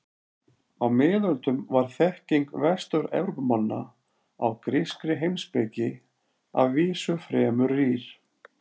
Á miðöldum var þekking Vestur-Evrópumanna á grískri heimspeki að vísu fremur rýr.